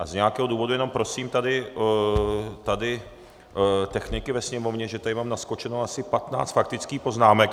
A z nějakého důvodu - jenom prosím tady techniky ve Sněmovně, že tady mám naskočeno asi 15 faktických poznámek.